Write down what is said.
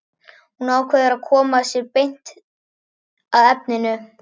Hann ákveður að koma sér beint að efninu.